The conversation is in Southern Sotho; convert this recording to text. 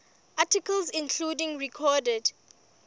articles including recorded